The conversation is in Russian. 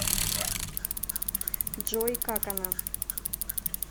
джой как она